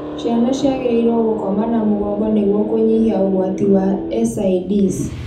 Ciana ciagĩrĩirũo gũkoma na mũgongo nĩguo kũnyihia ũgwati wa SIDS